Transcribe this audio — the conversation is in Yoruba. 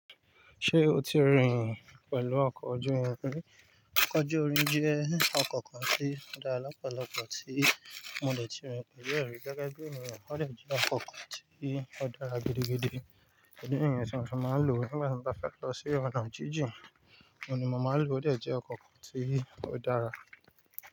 Ṣé o ti rìn pẹ̀lú ọkọ̀ ojú irin rí? Ọkọ̀ ojú irin jẹ́ ọkọ̀ kan tí ó dá lọ́pọ̀lọ́pọ̀ tí mo dè ti rìn pẹ̀lú rẹ̀. Gẹ́gẹ́ bí ènìyàn, ó jẹ́ ọkọ̀ kan tí ó dára gidigidi. Ẹ̀dí nìyàn ti mo fi máa ń lò ó nígbà tí mọ bá fẹ́ lọ sí ọ̀nà jíjìn. Ní mọ má lò ó de jẹ́ ọkọ̀ kan tí ó dára.